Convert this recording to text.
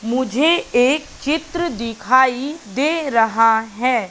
मुझे एक चित्र दिखाईं दे रहा है।